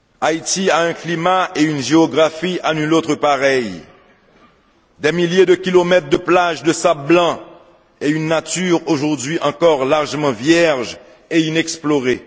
Haïti a un climat et une géographie à nuls autres pareils, des milliers de kilomètres de plages de sable blanc et une nature aujourd'hui encore largement vierge et inexplorée.